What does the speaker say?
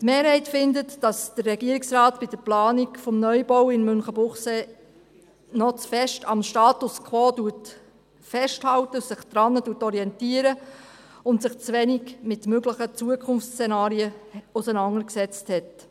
Die Mehrheit findet, dass der Regierungsrat bei der Planung des Neubaus in Münchenbuchsee noch zu stark am Status quo festhält und sich daran orientiert und sich zu wenig mit möglichen Zukunftsszenarien auseinandergesetzt hat.